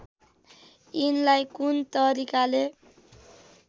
यिनलाई कुन तरिकाले